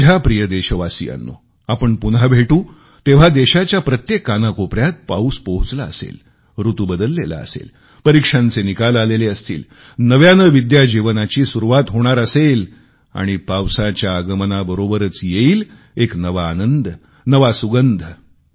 माझ्या प्रिय देशवासियांनो आपण पुन्हा भेटू तोवर देशाच्या प्रत्येक कोनाकोपऱ्या पाऊस पोहोचला असेल ऋतू बदललेला असेल परीक्षांचे निकाल आलेले असतील नव्याने विद्यार्थी जीवनाची सुरुवात होणार असेल आणि पावसाच्या आगमनाबरोबरच येईल एक नवा आनंद नवा सुगंध